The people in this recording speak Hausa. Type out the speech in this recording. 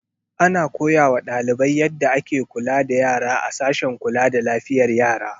Ana koya wa ɗalibai yadda ake kula da yara a sashen kula da lafiyar yara.